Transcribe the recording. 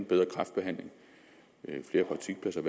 bedre kræftbehandling flere praktikpladser